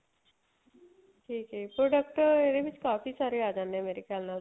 ਠੀਕ ਏ product ਇਹਦੇ ਵਿੱਚ ਕਾਫੀ ਸਾਰੇ ਆ ਜਾਂਦੇ ਏ ਮੇਰੇ ਖਿਆਲ ਨਾਲ